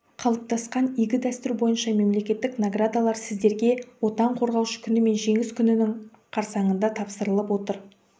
қалыптасқан игі дәстүр бойынша мемлекеттік наградалар сіздерге отан қорғаушы күні мен жеңіс күнінің қарсаңында тапсырылып отыр